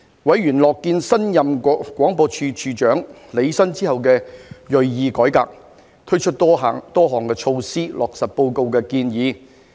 委員樂見新任廣播處長履新之後的銳意改革，推出多項措施，落實報告的建議。